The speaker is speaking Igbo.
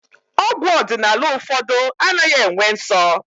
Ọgwụ ọdịnala ụfọdụ anaghị enwe nsọ